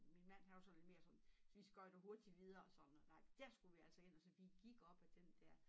Min mand han var sådan lidt mere sådan vi skøjter hurtigt videre sådan og nej dér skulle vi altså ind så vi gik op ad den dér